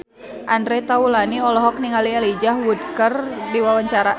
Andre Taulany olohok ningali Elijah Wood keur diwawancara